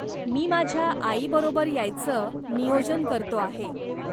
मी माझ्या आईबरोबर यायचं नियोजन करतो आहे.